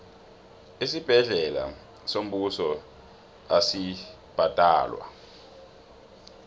isibhedlela sombuso asibhadalwa